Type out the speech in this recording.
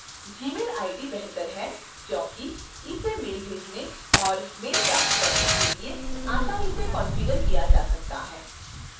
gmail id बेहतर है क्योंकि इसे mail भेजने और/या mail प्राप्त करने के लिए आसानी से कॉन्फ़िगर किया जा सकता है